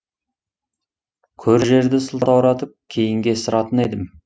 көр жерді сылтауратып кейінге ысыратын едім